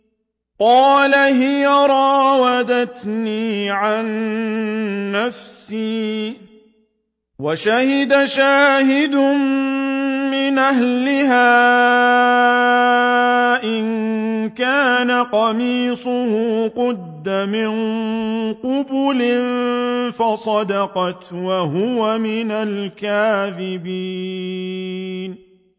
قَالَ هِيَ رَاوَدَتْنِي عَن نَّفْسِي ۚ وَشَهِدَ شَاهِدٌ مِّنْ أَهْلِهَا إِن كَانَ قَمِيصُهُ قُدَّ مِن قُبُلٍ فَصَدَقَتْ وَهُوَ مِنَ الْكَاذِبِينَ